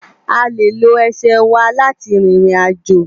À lé ló èsè wá láti ririnàjó